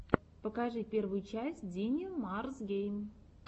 покажи первую часть динимарсгейм